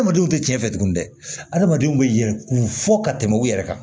Adamadenw tɛ cɛn tuguni dɛ adamadenw be yɛlɛ kun fɔ ka tɛmɛ u yɛrɛ kan